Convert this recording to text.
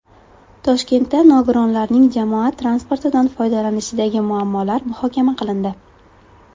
Toshkentda nogironlarning jamoat transportidan foydalanishidagi muammolar muhokama qilindi.